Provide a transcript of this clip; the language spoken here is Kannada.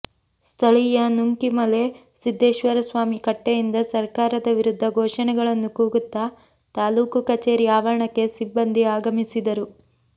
ಸ್ಥಳೀಯ ನುಂಕಿಮಲೆ ಸಿದ್ದೇಶ್ವರ ಸ್ವಾಮಿ ಕಟ್ಟೆಯಿಂದ ಸರ್ಕಾರದ ವಿರುದ್ಧ ಘೋಷಣೆಗಳನ್ನು ಕೂಗುತ್ತಾ ತಾಲ್ಲೂಕು ಕಚೇರಿ ಆವರಣಕ್ಕೆ ಸಿಬ್ಬಂದಿ ಆಗಮಿಸಿದರು